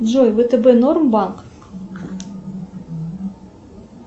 джой втб норм банк